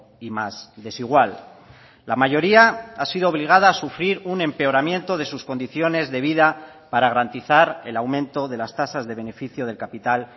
y más desigual la mayoría ha sido obligada a sufrir un empeoramiento de sus condiciones de vida para garantizar el aumento de las tasas de beneficio del capital